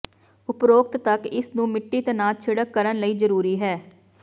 ਉਪਰੋਕਤ ਤੱਕ ਇਸ ਨੂੰ ਮਿੱਟੀ ਤਣਾਅ ਛਿੜਕ ਕਰਨ ਲਈ ਜ਼ਰੂਰੀ ਹੈ